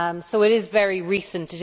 It is very recent